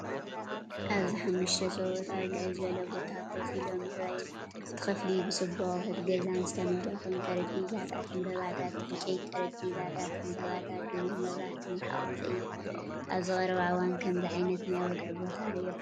ኣብዚ ሓሙሽተ ሰብኡት ኣብ ልዕል ዝበለ ቦታ ኮፍ ኢሎም ይረኣዩ። እቲ ክፍሊ ብጽቡቕ ኣቑሑት ገዛን ዝተመልአ ኮይኑ፡ ጠረጴዛታት፡ ዕምባባታት፡ ዕንጨይቲ ጠረጴዛታት፡ ዕንበባታትን ድሙቕ መብራህትን ዝሓቖፈ እዩ። ኣብዚ ቀረባ እዋን ከምዚ ዓይነት ናይ ወግዒ ቦታ ርኢኹም ዶ?